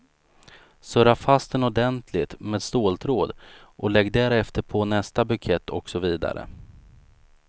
Surra fast den ordentligt med ståltråd och lägg därefter på nästa bukett och så vidare.